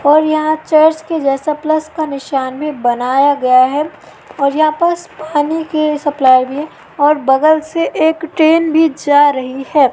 और यहां चर्च के जैसा प्लस का निशान भी बनाया गया है और यहां पर पानी की सप्लाई भी और बगल से एक ट्रेन भी जा रही है।